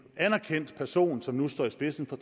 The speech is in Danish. anerkendt person som nu står i spidsen for